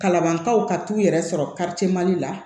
Kalanbankaw ka t'u yɛrɛ sɔrɔ li la